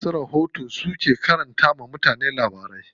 Masu rahoto su ke karanto wa mutane labarai.